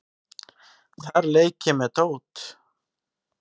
Þar leik ég með dót.